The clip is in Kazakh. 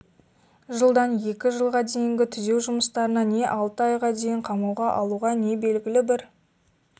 жылдан екі жылға дейінгі түзеу жүмыстарына не алты айға дейін қамауға алуға не белгілі бір